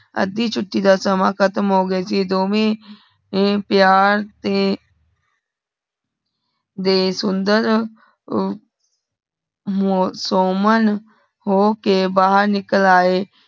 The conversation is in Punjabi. ਅਧੀ ਛੁਟੀ ਦਾ ਸਮਾਹਾ ਖਤਮ ਹੋ ਗਯਾ ਸੀ ਦੋਵੇਂ ਐ ਪਯਾਰ ਸੇ ਦੇ ਸੁੰਦਰ ਉ ਮੋ ਸੁਮਨ ਹੋਕਰ ਬਾਹਰ ਨਿਕਲ ਆਏ